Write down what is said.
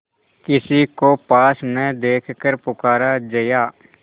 किसी को पास न देखकर पुकारा जया